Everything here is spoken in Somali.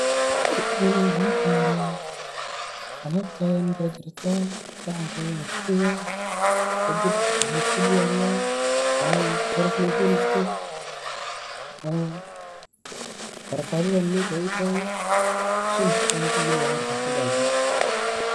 Tani waxan u diyariya, alabta ayan jarjarta sahanka ayan kurida, kadib waxan isku diyariya inan mesha faristo. Farqadadha mesha ay ii talo, Shamta ayan kagaliya markas kabacdi.